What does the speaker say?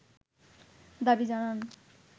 দাবি জানান